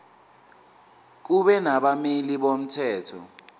kube nabameli bomthetho